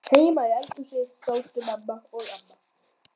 Heima í eldhúsi sátu mamma og amma.